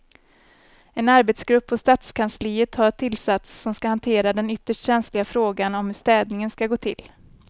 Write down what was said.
En arbetsgrupp på stadskansliet har tillsatts som ska hantera den ytterst känsliga frågan om hur städningen ska gå till.